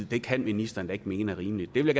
det kan ministeren da ikke mene er rimeligt det vil